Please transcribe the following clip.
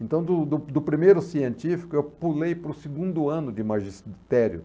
Então, do do do primeiro científico, eu pulei para o segundo ano de magistério.